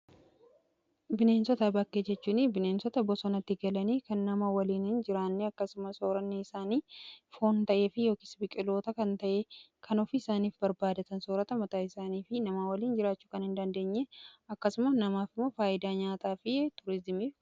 Bineensota bakkee jechuun bineensota bosonatti galanii kan nama waliin Hin jiraanne. Akkasuma soorannii isaanii foon ta'ee yookiis biqiloota kan ta'ee kan ofii isaaniif barbaadatan soorata mataa isaanii fi nama waliin jiraachuu kan hindandeenye. Akkasuma namaafimoo faayidaa nyaataa fi tuurizimiif oolu.